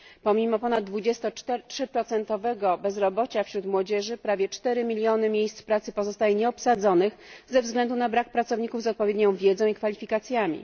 Pomimo ponad 23 procentowego bezrobocia wśród młodzieży, prawie 4 miliony miejsc pracy pozostaje nieobsadzonych ze względu na brak pracowników z odpowiednią wiedzą i kwalifikacjami.